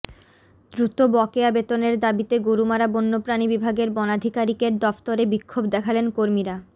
দ্রুত বকেয়া বেতনের দাবিতে গরুমারা বন্যপ্রাণী বিভাগের বনাধিকারিকের দফতরে বিক্ষোভ দেখালেন কর্মীরা